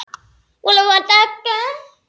Ingberg, er bolti á föstudaginn?